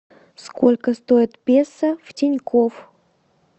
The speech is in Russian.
сколько стоит песо в тинькофф